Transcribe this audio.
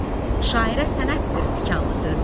Şairə sənətdir tikanlı sözlər.